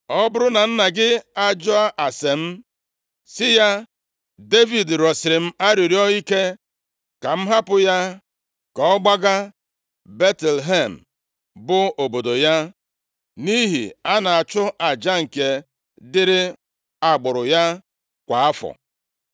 Ọ bụrụ na nna gị ajụọ ase m, sị ya, ‘Devid rịọsiri m arịrịọ ike ka m hapụ ya ka ọ gbaga Betlehem, bụ obodo ya, nʼihi a na-achụ aja nke dịrị agbụrụ ya kwa afọ.’